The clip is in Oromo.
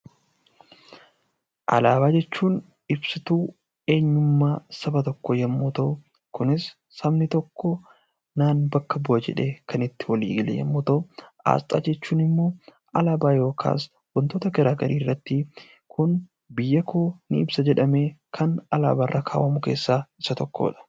Alaabaa jechuun ibsituu eenyummaa saba tokkoo yommuu ta'u, kunis sabni tokko naan bakka bu'a jedhee kan itting walii gale yommuu ta'u, aasxaa jechuun immoo alaabaa yookiin wantoota garaa garii irratti kun biyya koo ni ibsa jedhanii waan alaabaa irra kaawwamu keessaa isa tokkodha.